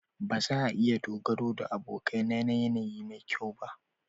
Ba za a iya dogaro da abokai na yanayi mai kyau ba.